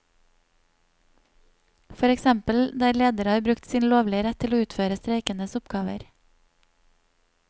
For eksempel der ledere har brukt sin lovlige rett til å utføre streikendes oppgaver.